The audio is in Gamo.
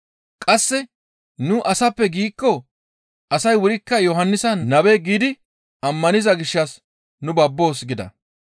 Qasse nu, ‹Asappe› giikko, asay wurikka Yohannisa nabe giidi ammaniza gishshas nu babboos» gida.